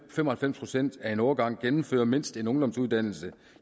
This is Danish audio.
fem og halvfems procent af en årgang gennemfører mindst en ungdomsuddannelse